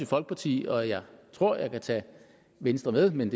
folkeparti og jeg tror jeg kan tage venstre med men